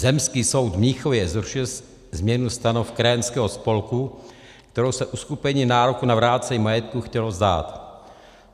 Zemský soud v Mnichově zrušil změnu stanov krajanského spolku, kterou se uskupení nároku na vrácení majetku chtělo vzdát.